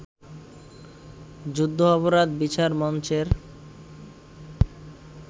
যুদ্ধাপরাধ বিচার মঞ্চের